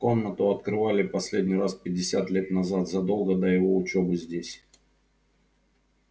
комнату открывали последний раз пятьдесят лет назад задолго до его учёбы здесь